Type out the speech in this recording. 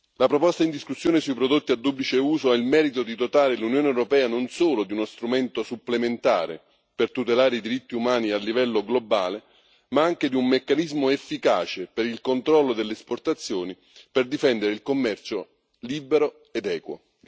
La proposta in discussione sui prodotti a duplice uso ha il merito di dotare l'Unione europea non solo di uno strumento supplementare per tutelare i diritti umani a livello globale ma anche di un meccanismo efficace per il controllo delle esportazioni per difendere il commercio libero ed equo.